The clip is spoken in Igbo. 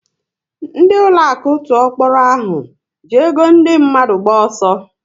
Ndị ụlọaku tụọ kpọrọ ahụ ji ego ndị mmadụ gba ọsọ